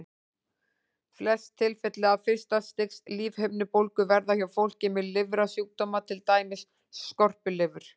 Flest tilfelli af fyrsta stigs lífhimnubólgu verða hjá fólki með lifrarsjúkdóma, til dæmis skorpulifur.